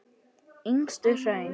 Yngstu hraun